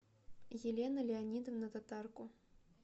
елена леонидовна татарко